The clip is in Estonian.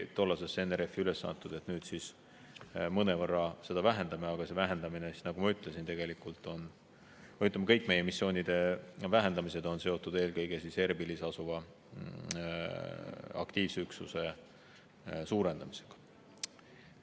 Nüüd me seda mõnevõrra vähendame, aga see vähendamine, nagu ma ütlesin, on tegelikult – ja kõik meie missioonide vähendamised on – seotud eelkõige Arbīlis asuva aktiivse üksuse suurendamisega.